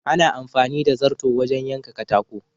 Ana amfani da zarto wajen yanka katako.